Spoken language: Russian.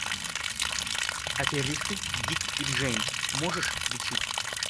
аферисты дик и джейн можешь включить